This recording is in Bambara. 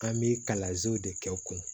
An bɛ kalanzew de kɛ u kun